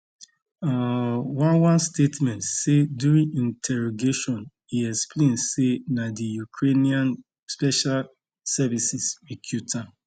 um one one statement say during interrogation e explain say na di ukrainian special services recruit am